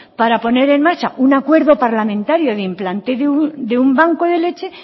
para poner en marcha un acuerdo parlamentario de implante de un banco de leche